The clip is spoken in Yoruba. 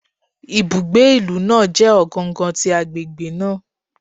Ibugbe ilu naa jẹ ogangan ti agbegbe naa